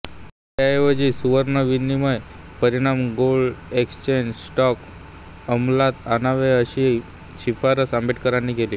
त्याऐवजी सुवर्ण विनिमय परिमाण गोल्ड एक्सचेंज स्टँडर्ड अमलात आणावे अशी शिफारस आंबेडकरांनी केली